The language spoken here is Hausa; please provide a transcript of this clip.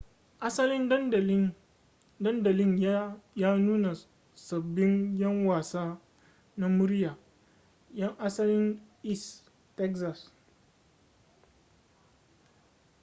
asalin dandalin ya nuna sabbin yan wasa na murya yan asalin east texas